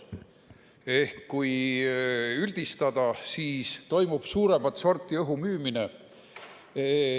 Ehk kui üldistada, siis toimub suuremat sorti õhumüümine.